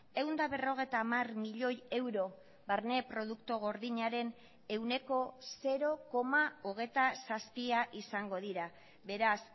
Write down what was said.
ehun eta berrogeita hamar milioi euro barne produktu gordinaren ehuneko zero koma hogeita zazpia izango dira beraz